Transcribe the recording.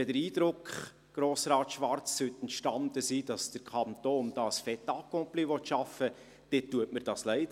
Wenn der Eindruck entstanden sein sollte, Grossrat Schwarz, dass der Kanton ein «fait accompli» schaffen will, dann tut mir dies leid.